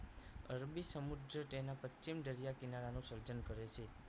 અરબી સમુદ્ર તેના પશ્ચિમ દરિયા કિનારાનું સર્જન કરે છે